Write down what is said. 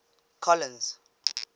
colins